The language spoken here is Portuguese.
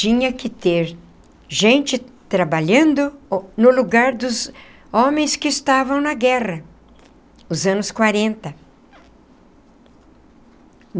Tinha que ter gente trabalhando no lugar dos homens que estavam na guerra, nos anos quarenta.